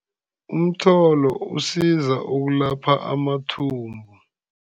Umtholo usiza ukulapha amathumbu.